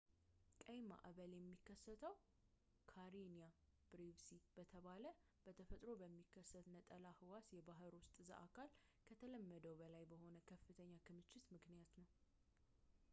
ቀይ ማዕበል የሚከሰተው ካሬኒያ ብሬቪስ በተባለ በተፈጥሮ በሚከሰት ነጠላ ሕዋስ የባሕር ውስጥ ዘአካል ከተለመደው በላይ በሆነ ከፍተኛ ክምችት ምክንያት ነው